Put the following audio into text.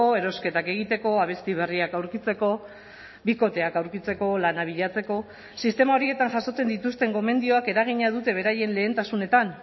erosketak egiteko abesti berriak aurkitzeko bikoteak aurkitzeko lana bilatzeko sistema horietan jasotzen dituzten gomendioak eragina dute beraien lehentasunetan